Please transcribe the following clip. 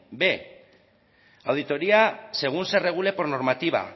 b auditoría según se regule por normativa